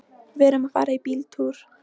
Við erum að fara í bíltúr.